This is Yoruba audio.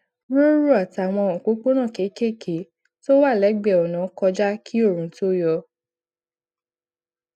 róró àtàwọn òpópónà kéékèèké tó wà légbèé ònà kọjá kí oòrùn tó yọ